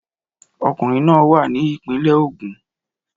Ọkùnrin náà wà ní ìpínlẹ̀ Ogun